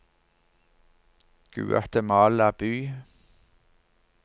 Guatemala by